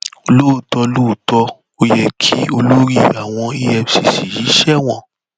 lóòótọ lóòótọ ó yẹ kí olórí àwọn efcc yìí sẹwọn